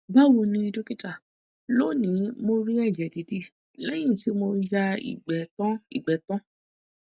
bawo ni dókítà lónìí mo rí ẹjẹ didi lẹyìn tí mo ti ya igbe tan igbe tan